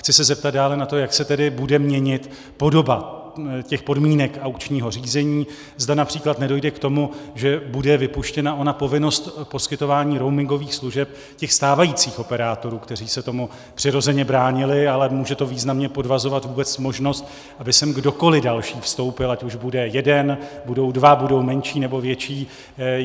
Chci se zeptat dále na to, jak se tedy bude měnit podoba těch podmínek aukčního řízení, zda například nedojde k tomu, že bude vypuštěna ona povinnost poskytování roamingových služeb těch stávajících operátorů, kteří se tomu přirozeně bránili, ale může to významně podvazovat vůbec možnost, aby sem kdokoliv další vstoupil, ať už bude jeden, budou dva, budou menší, nebo větší.